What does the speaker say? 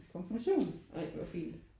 Ej hvor fint